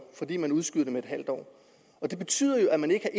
fordi man udskyder det med et halvt år og det betyder jo at man ikke